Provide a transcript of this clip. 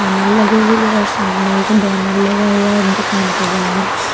लगी हुई है और सामने एक बैनर लगा हुआ है दुकान के बहार